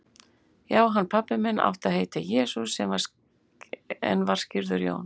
Já, hann pabbi minn átti að heita Jesú, en var skírður Jón.